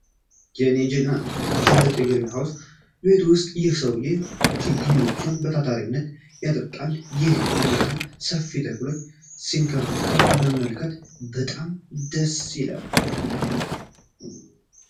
የኔ ጀግና! በትልቅ የግሪን ሃውስ ቤት ውስጥ ይህ ሰውዬ ችግኞቹን በታታሪነት ያጠጣል! ይህን ያህል ሰፋፊ ተክሎችን ሲንከባከብ መመልከት በጣም ደስ ይላል!